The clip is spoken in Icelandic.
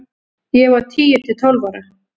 Ég var tíu til tólf ára.